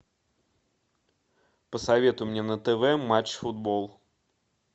посоветуй мне на тв матч футбол